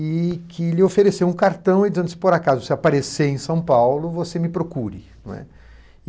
e que lhe ofereceu um cartão dizendo se por acaso você aparecer em São Paulo, você me procure